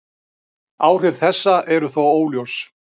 Áhrif þessa eru þó óljós.